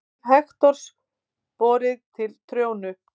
Lík Hektors borið til Tróju.